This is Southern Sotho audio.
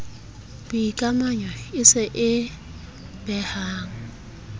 boikamanyo e se e behang